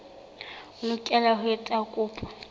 o lokela ho etsa kopo